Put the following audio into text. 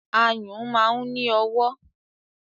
Ayùn máa ń ní ọwọ́.